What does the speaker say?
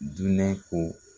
Dunɛn ko